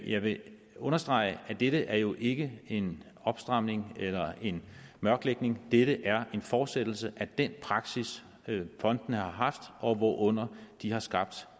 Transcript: jeg vil understrege at det her jo ikke er en opstramning eller en mørklægning det er en fortsættelse af den praksis fondene har haft og hvorunder de har skabt